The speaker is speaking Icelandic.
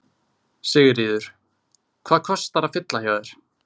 Sigríður: Hvað kostar að fylla hjá þér?